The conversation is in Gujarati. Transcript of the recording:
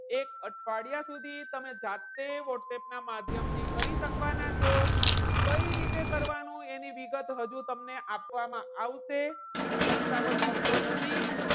એક અઠવાડિયા સુધી તમે જાતે whatsapp ના માધ્યમથી કરી શકવાના છો. કઈ રીતે કરવાનું? એની વિગત હજુ તમને આપવામાં આવશે. એટલે ઉતાવળ કરશો નહીં.